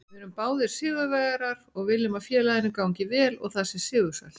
Við erum báðir sigurvegarar og viljum að félaginu gangi vel og það sé sigursælt.